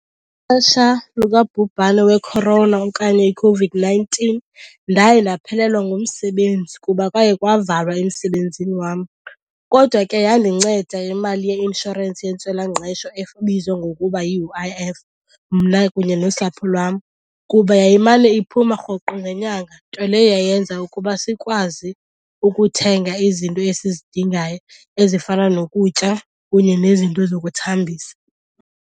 likabhubhane we-corona okanye iCOVID-nineteen ndaye ndaphelelwa ngumsebenzi kuba kwaye kwavalwa emsebenzini wam. Kodwa ke yandinceda imali yeinshorensi yentswelangqesho ebizwa ngokuba yi-U_I_F mna kunye nosapho lwam kuba yayimane iphuma rhoqo ngenyanga, nto leyo yayenza ukuba sikwazi ukuthenga izinto esizidingayo ezifana nokutya kunye nezinto zokuthambisa.